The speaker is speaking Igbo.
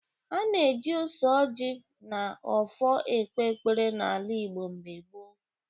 Ana eji ose ọjị na ọfọ ekpe ekpere na-ala Igbo mgbe gboo.